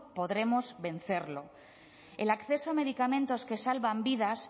podremos vencerlo el acceso a medicamentos que salvan vidas